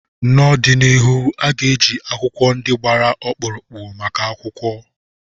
N'ọdịnihu a ga-eji akwụkwọ ndị gbara ọkpụrụkpụ maka akwụkwọ.